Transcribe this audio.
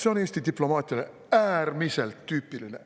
See on Eesti diplomaatiale äärmiselt tüüpiline.